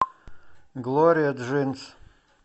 глория джинс